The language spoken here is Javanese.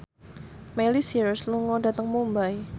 Miley Cyrus lunga dhateng Mumbai